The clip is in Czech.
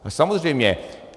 Samozřejmě.